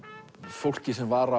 fólki sem var